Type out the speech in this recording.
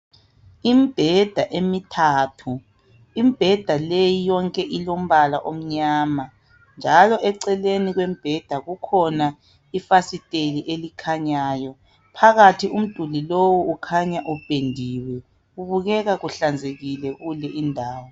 Imbheda emithathu. Imbheda leyi yonke ilombala omnyama, njalo eceleni kombheda kukhona ifasiteli elikhanyayo. Phakathi, umduli lowu, ukhanya upendiwe. Kubukeka kuhlanzekile kule indawo.